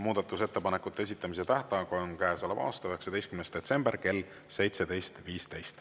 Muudatusettepanekute esitamise tähtaeg on käesoleva aasta 19. detsember kell 17.15.